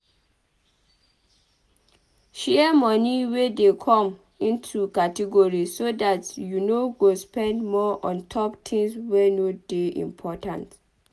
Share moni wey dey come into categories so dat you no go spend more ontop tins wey no dey important